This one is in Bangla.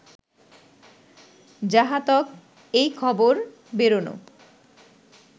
যাঁহাতক এই খবর বেরোনো